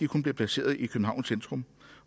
kun bliver placeret i københavns centrum